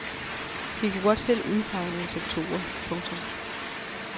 Vi kunne godt selv udpege nogle sektorer. punktum